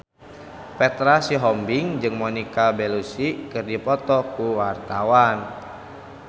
Petra Sihombing jeung Monica Belluci keur dipoto ku wartawan